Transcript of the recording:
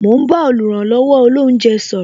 Mo ń bá oluranlowo olounje sọ̀rọ̀